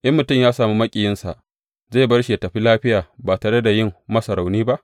In mutum ya sami maƙiyinsa, zai bar shi yă tafi lafiya ba tare da yin masa rauni ba?